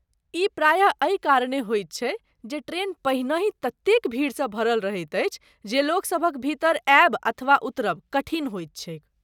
ई प्रायः एहि कारणे होइत अछि जे ट्रैन पहनहि ततेक भीड़सँ भरल रहैत अछि जे लोकसभक भीतर आयब अथवा उतरब कठिन होइत छैक।